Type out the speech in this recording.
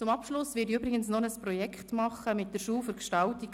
Zum Abschluss werde ich übrigens ein Projekt mit der Schule für Gestaltung